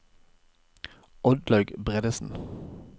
Oddlaug Bredesen